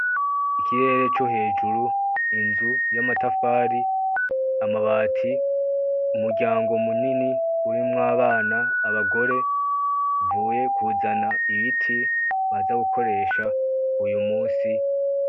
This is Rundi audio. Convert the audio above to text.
Ikirere co hejuru, inzu y'amatafari, amabati. Umuryango munini urimwo abana, abagore uvuye kuzana ibiti baza gukoresha uyu musi.